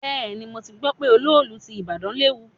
Bẹ́ẹ̀ni, mo ti gbọ́ pé olóòlù ti ìbàdàn léwu.